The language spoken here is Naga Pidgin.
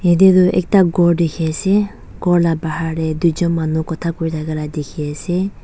yete tu ekta kor tiki ase kor la bahar dae tui jun manu kuta kur taka la tiki ase.